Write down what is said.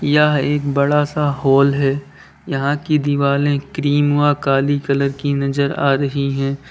यह एक बड़ा सा हॉल है यहां की दिवाले क्रीम व काली कलर की नजर आ रही है।